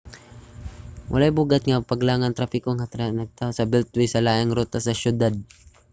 walay bug-at nga paglangan sa trapiko nga nataho sa beltway ang laing rota sa siyudad